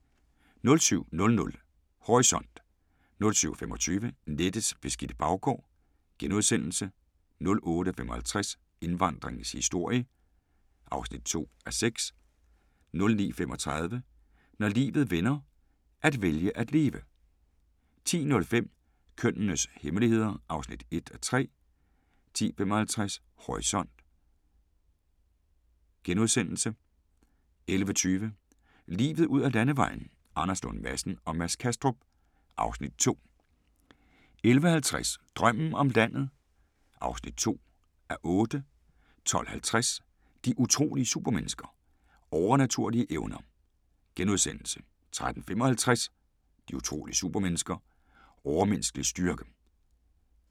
07:00: Horisont 07:25: Nettets beskidte baggård * 08:55: Indvandringens historie (2:6) 09:35: Når livet vender – at vælge at leve 10:05: Kønnenes hemmeligheder (1:3) 10:55: Horisont * 11:20: Livet ud ad landevejen: Anders Lund Madsen og Mads Kastrup (Afs. 2) 11:50: Drømmen om landet (2:8) 12:50: De utrolige supermennesker – Overnaturlige evner * 13:35: De utrolige supermennesker - Overmenneskelig styrke